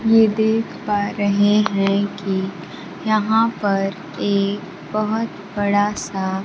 ये देख पा रहे हैं कि यहां पर एक बहोत बड़ा सा--